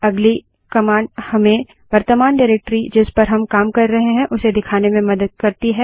अगली कमांड हमें वर्त्तमान डाइरेक्टरी जिस पर हम काम कर रहे हैं उसे दिखाने में मदद करती है